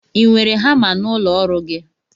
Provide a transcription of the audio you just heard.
Ị nwere hama n'ụlọ ọrụ gị?